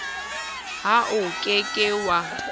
ha o ke ke wa